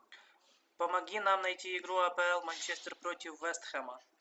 помоги нам найти игру апл манчестер против вест хэма